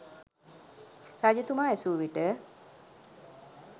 රජතුමා ඇසූවිට